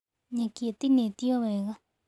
Nyeki ĩtinĩtwo wega.